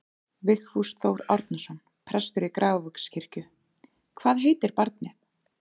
Vigfús Þór Árnason, prestur í Grafarvogskirkju: Hvað heitir barnið?